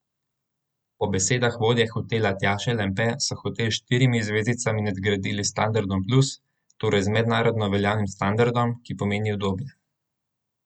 Po besedah vodje hotela Tjaše Lampe so hotel s štirimi zvezdicami nadgradili s standardom plus, torej z mednarodno veljavnim standardom, ki pomeni udobje.